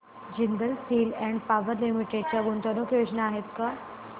Jindal steel and power limited च्या गुंतवणूक योजना आहेत का